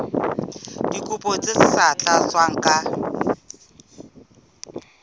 dikopo tse sa tlatswang ka